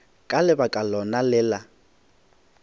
ka lebaka lona le la